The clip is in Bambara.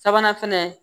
Sabanan fɛnɛ